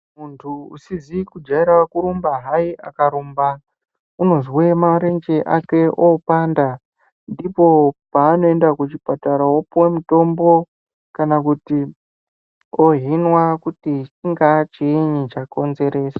Muntu usizikujayira kurumba hayi, akarumba unozve marenje ake opanda. Ndipo panoyenda kuchipatara wopuwa mutombo kana kuti ohhinwa kuti chinga chini chakonzeresa.